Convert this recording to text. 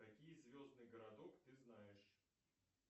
какие звездный городок ты знаешь